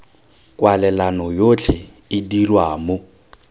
kwalelano yotlhe e dirwa mo